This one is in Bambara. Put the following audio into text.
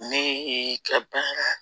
Ni y'i kɛ